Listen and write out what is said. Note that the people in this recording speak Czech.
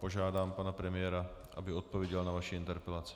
Požádám pana premiéra, aby odpověděl na vaši interpelaci.